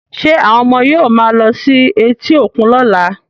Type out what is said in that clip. Ṣé àwọn ọmọ yóò máa lọ sí etí òkun lọ́la